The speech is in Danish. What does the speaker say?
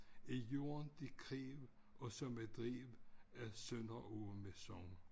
Af jorden det kræv og som det drev af Sønderåen ved sogn